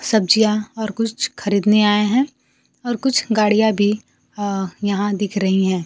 सब्जियां ओर कुछ खरीदने आएं है और कुछ गाड़ियां अ भी यहां दिख रही हैं।